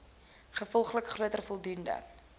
gevolglik groter voldoening